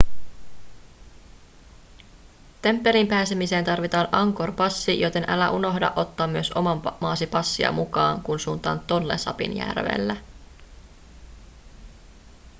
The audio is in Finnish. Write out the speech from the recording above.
temppeliin pääsemiseen tarvitaan angkor-passi joten älä unohda ottaa myös oman maasi passia mukaan kun suuntaat tonle sapin järvelle